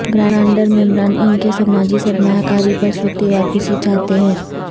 grandeur ممبران ان کے سماجی سرمایہ کاری پر صوتی واپسی چاہتے ہیں